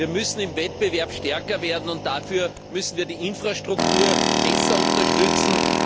Wir müssen im Wettbewerb stärker werden, und dafür müssen wir die Infrastruktur besser unterstützen.